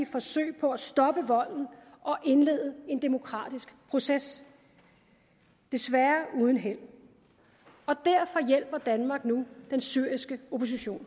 forsøg på at stoppe volden og indlede en demokratisk proces desværre uden held derfor hjælper danmark nu den syriske opposition